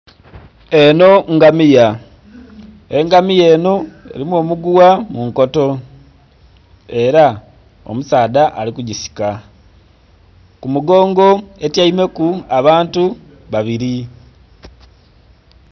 Eno ngamiya, engamiya eno erimu omuguwa munkoto era omusaadha alikugisika. Kumugongo etyaime ku abantu babiri.